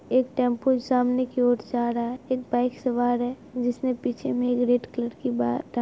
एक टेम्पो सामने की ओर से आ रहा है एक बाइ सवार है जिसमे पिछे मेग्रेट कलर की बा टा--